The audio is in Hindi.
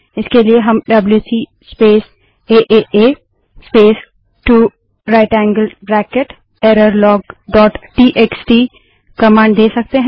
इसके लिए हम WC space A A A space 2 right angled bracket error log dot TXT WC space A A space 2 right angled bracket error log TXT command दे सकते हैं